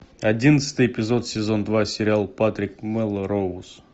одиннадцатый эпизод сезон два сериал патрик мелроуз